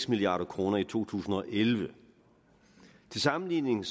milliard kroner i to tusind og elleve til sammenligning